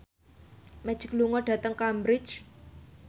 Magic lunga dhateng Cambridge